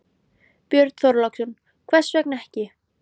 Björn Þorláksson: Hvers vegna ekki?